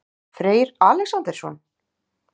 Freyr Alexandersson?